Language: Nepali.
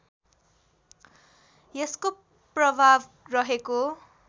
यसको प्रभाव रहेको